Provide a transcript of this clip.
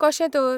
कशें तर ?